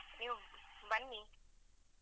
ನೀವು ಬನ್ನಿ.